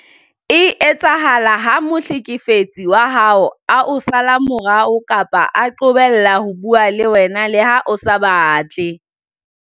e etsahala ha mohlekefetsi wa hao a o sala morao kapa a qobella ho bua le wena le ha o sa batle.